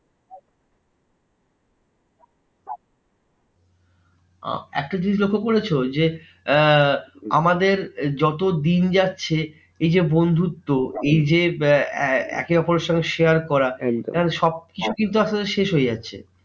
আহ একটা জিনিস লক্ষ্য করেছো? যে আহ আমাদের যত দিন যাচ্ছে এই যে বন্ধুত্ব, এই যে একে ওপরের সঙ্গে share করা, সবকিছু কিন্তু আসতে আসতে শেষ হয়ে যাচ্ছে।